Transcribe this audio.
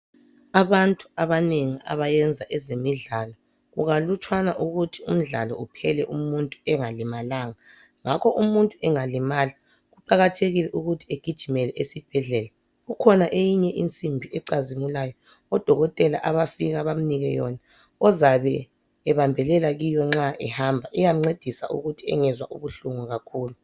Abantu abanengi abayenza ezemidlalo, kukalutshwana ukuthi umdlalo uphele umuntu engalimalanga. Ngakho umuntu angalimala, kuqakhathekile ukuthi agijimele esibhedlela. Kukhona iyinye insimbi ecazimulayo, odokotela abafika bemnike yona ozabe ebambelela khiyo nxa ehamba. Iyamncedisa ukuthi engezwa ubuhlungu kakhulu.